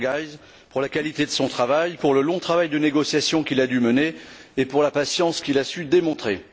Iturgaiz Angulo, pour la qualité de son travail, pour le long travail de négociation qu'il a dû mener et pour la patience qu'il a su démontrer.